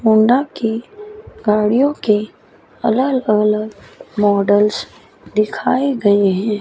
Honda की गाड़ियों के अलग अलग मॉडल्स दिखाए गए हैं।